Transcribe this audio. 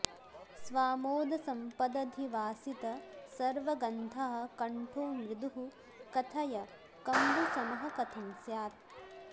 स्वामोदसम्पदधिवासित सर्वगन्धः कण्ठो मृदुः कथय कम्बुसमः कथं स्यात्